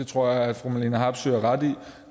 tror at fru marlene harpsøe har ret i at